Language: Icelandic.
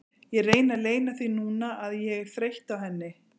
Ég reyni að leyna því núna að ég er þreytt á henni.